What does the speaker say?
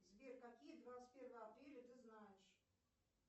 сбер какие двадцать первого апреля ты знаешь